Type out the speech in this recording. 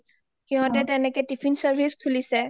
সিহঁতে তেনেকে tiffin service খুলিছে